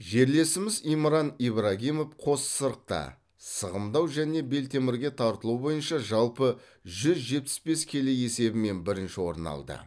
жерлесіміз имран ибрагимов қос сырықта сығымдау және белтемірге тартылу бойынша жалпы жүз жетпіс бес келі есебімен бірінші орын алды